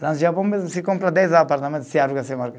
Lá no Japão mesmo, se compra dez apartamento, se aluga